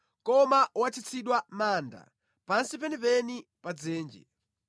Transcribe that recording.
Koma watsitsidwa mʼmanda pansi penipeni pa dzenje.